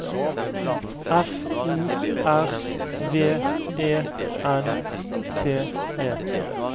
F O R V E N T E